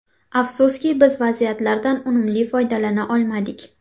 Afsuski, biz vaziyatlardan unumli foydalana olmadik.